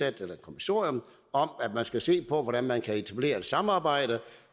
et kommissorium om at man skal se på hvordan man kan etablere et samarbejde